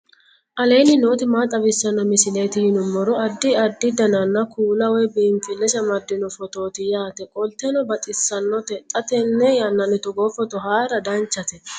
aleenni nooti maa xawisanno misileeti yinummoro addi addi dananna kuula woy biinsille amaddino footooti yaate qoltenno baxissannote xa tenne yannanni togoo footo haara danvchate